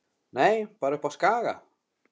Nei, bara uppi á Skaga.